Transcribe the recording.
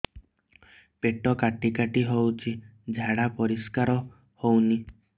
ପେଟ କାଟି କାଟି ହଉଚି ଝାଡା ପରିସ୍କାର ହଉନି